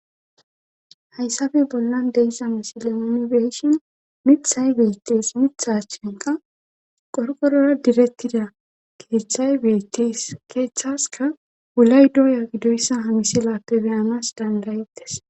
Hayssafe bollan deyssa misile minibeyshin mithay beittees mithachenka qorqorora direttida keeththay beytees keeththaska wulay doya gidoyssa hamisilappe beyanas dandayettes